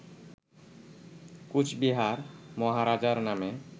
কোচবিহার মহারাজার নামে